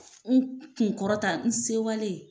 N kun kɔrɔ ta n sewale.